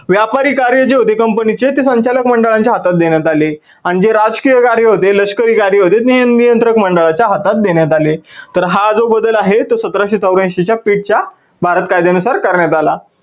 व्यापारी कार्य जे होते company चे ते संचालक मंडळाच्या हातात देण्यात आले आणि जे राजकीय कार्य होते, लष्करी कार्य होते ते नियंत्रक मंडळाच्या हातात देण्यात आले. तर हा जो बदल आहे तो सतराशे चौऱ्यांशी pitt च्या भारत कायद्यानुसार करण्यात आला.